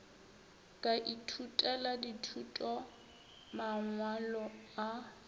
ka ithutela dithuto mangwalo a